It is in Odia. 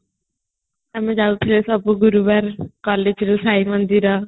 ଆମେ ଯାଉଥିଲୁ ସବୁ ଗୁରୁବାର collegeରୁ ସାଇ ମନ୍ଦିର